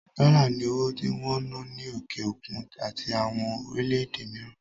Dollars ni owó tí wón ń ná ní òkè òkun àti àwọn orílẹ̀ èdè mìíràn